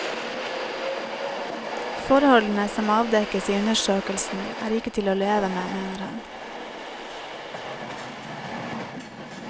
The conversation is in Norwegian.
Forholdene som avdekkes i undersøkelsen er ikke til å leve med, mener han.